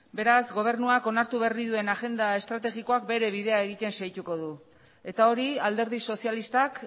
beraz gobernuak onartu berri duen agenda estrategikoak bere bidea egiten segituko du eta hori alderdi sozialistak